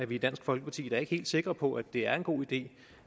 i dansk folkeparti da ikke helt sikre på at det er en god idé